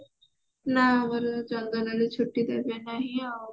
ନା ଆମକୁ ଚନ୍ଦନ ରେ ଛୁଟି ଦେବେ ନାହିଁ ଆଉ